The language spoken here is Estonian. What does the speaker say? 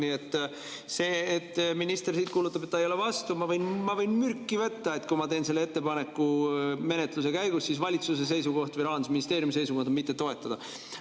Nii et see, et minister siit kuulutab, et ta ei ole vastu, ma võin mürki võtta, et kui ma teen selle ettepaneku menetluse käigus, siis valitsuse seisukoht või Rahandusministeeriumi seisukoht on: mitte toetada.